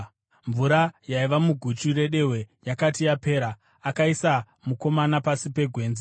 Mvura yaiva muguchu redehwe yakati yapera, akaisa mukomana pasi pegwenzi.